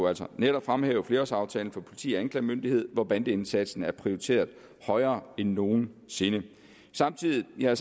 altså netop fremhæve flerårsaftalen for politi og anklagemyndighed hvor bandeindsatsen er prioriteret højere end nogen sinde samtidig har